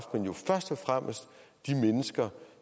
haft og fremmest de mennesker